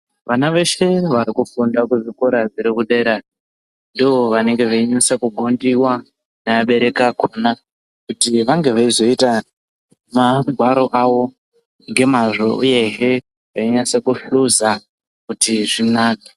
Vana veshe varikufunda kuzvikora zvirikudera ndovanonasa kugondiwa nevabereki akona kuti vange veizoita magwaro avo ngemazvo uyezve veinyasa kuhluza kuti zvinake.